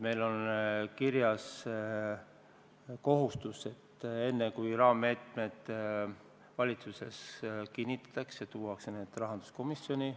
Meil on kirjas kohustus, et enne, kui raammeetmed valitsuses kinnitatakse, tuuakse need rahanduskomisjoni.